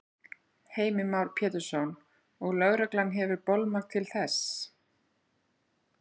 Heimir Már Pétursson: Og lögreglan hefur bolmagn til þess?